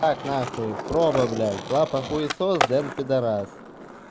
так нахуй проба блядь лапа хуесос денис пидарас